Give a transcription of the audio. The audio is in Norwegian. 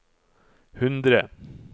hundre